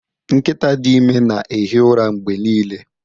Nkịta dị ime na-ehi ụra mgbe niile.